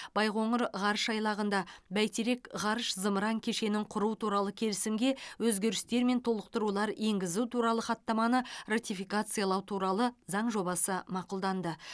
байқоңыр ғарыш айлағында бәйтерек ғарыш зымыран кешенін құру туралы келісімге өзгерістер мен толықтырулар енгізу туралы хаттаманы ратификациялау турал заң жобасы мақұлданды